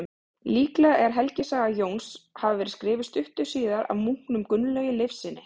Líklegt er að helgisaga Jóns hafi verið skrifuð stuttu síðar af munknum Gunnlaugi Leifssyni.